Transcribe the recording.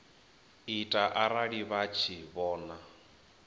ita arali vha tshi vhona